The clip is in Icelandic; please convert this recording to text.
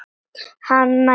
Hann átti tvær mömmur.